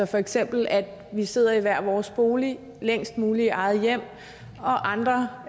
for eksempel at vi sidder i hver vores bolig længst muligt i eget hjem og andre